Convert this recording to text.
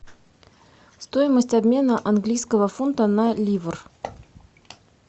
стоимость обмена английского фунта на ливр